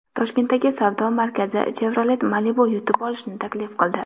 Toshkentdagi savdo markazi Chevrolet Malibu yutib olishni taklif qildi.